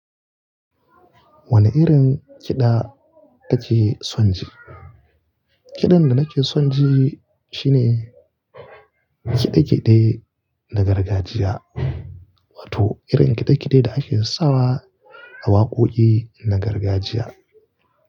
Wane irin kiɗa kake son ji? Kiɗan da nake son ji shine kiɗe-kiɗe na gargajiya, wato irin kiɗe-kiɗe da ake sawa a waƙoƙi na gargajiya.